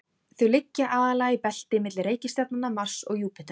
þau liggja aðallega í belti milli reikistjarnanna mars og júpíters